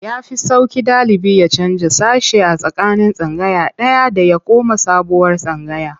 Ya fi sauƙi ɗalibi ya canja sashe a tsakanin tsangaya ɗaya da ya koma sabuwar tsangaya.